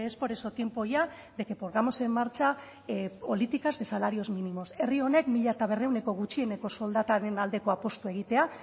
por eso tiempo ya de que pongamos en marcha políticas de salarios mínimos herri honek mila berrehuneko gutxieneko soldataren aldeko apustua egitea